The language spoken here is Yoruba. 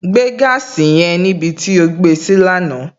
Gbé gaasi yẹn níbi tí ó gbé e sí lánàá!